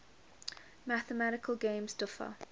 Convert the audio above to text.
mathematical games differ